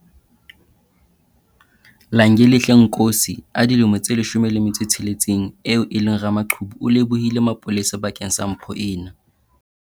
Langelihle Nkosi, 16, eo e leng ramaqhubu o lebohile masepala bakeng sa mpho ena.